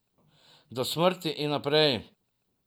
Do smrti in naprej.